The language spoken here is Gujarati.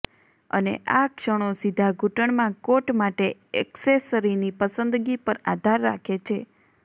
અને આ ક્ષણો સીધા ઘૂંટણમાં કોટ માટે એક્સેસરીની પસંદગી પર આધાર રાખે છે